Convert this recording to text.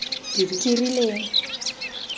kerileng